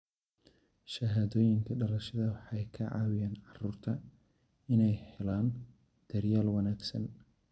Shahaadooyinka dhalashada waxay ka caawiyaan carruurta inay helaan daryeel wanaagsan.